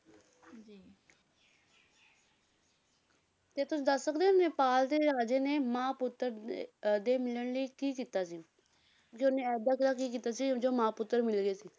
ਤੇ ਤੁਸੀਂ ਦੱਸ ਸਕਦੇ ਹੋ ਨੇਪਾਲ ਦੇ ਰਾਜੇ ਨੇ ਮਾਂ ਪੁੱਤਰ ਦੇ ਅਹ ਦੇ ਮਿਲਣ ਲਈ ਕੀ ਕੀਤਾ ਸੀ ਕੀ ਕੀਤਾ ਸੀ ਜਦੋਂ ਮਾਂ ਪੁੱਤਰ ਮਿਲ ਗਏ ਸੀ।